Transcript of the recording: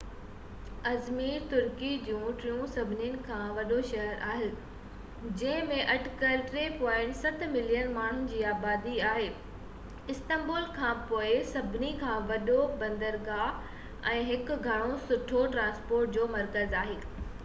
Izmir ترکي جو ٽيون سڀني کان وڏو شهر آهي جنهن ۾ اٽڪل 3.7 ملين ماڻهن جي آبادي آهي استنبول کانپوءِ ٻيو سڀني کان وڏو بندرگاهہ ۽ هڪ گهڻو سٺو ٽرانسپورٽ جو مرڪز آهي